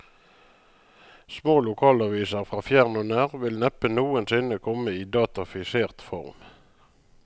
Små lokalaviser fra fjern og nær vil vel neppe noensinne komme i datafisert form.